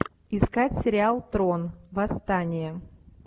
искать сериал трон восстание